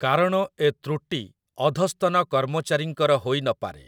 କାରଣ ଏ ତୃଟି ଅଧସ୍ତନ କର୍ମଚାରୀଙ୍କର ହୋଇନପାରେ ।